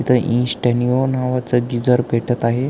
तिथ इनस्टनिओ नावाच गीजर भेटत आहे.